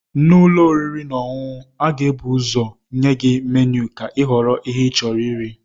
N'ụlọ oriri na ọṅụṅụ, a ga-ebu ụzọ nye gị menu ka ịhọrọ ihe ịchọrọ iri.